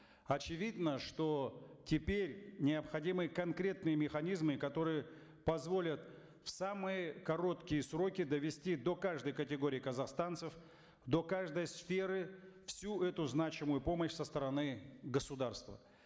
очевидно что теперь необходимы конкретные механизмы которые позволят в самые короткие сроки довести до каждой категории казахстанцев до каждой сферы всю эту значимую помощь со стороны государства